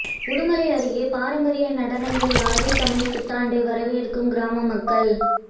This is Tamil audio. உடுமலை அருகே பாரம்பரிய நடனங்கள் ஆடி தமிழ்ப் புத்தாண்டை வரவேற்கும் கிராம மக்கள்